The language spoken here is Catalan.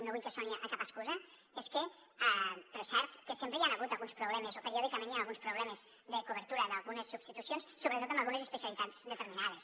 no vull que soni a cap excusa però és cert que sempre hi han hagut alguns problemes o periòdicament hi han alguns problemes de cobertura d’algunes substitucions sobretot en algunes especialitats determinades